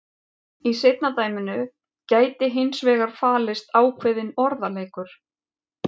Í seinna dæminu gæti hins vegar falist ákveðinn orðaleikur.